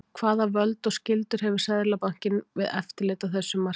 hvaða völd og skyldur hefur seðlabankinn við eftirlit á þessum markaði